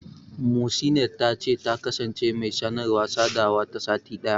Muhsinat ta ce, ta kasance mai sanarwa/sadawa ta sati ɗaya.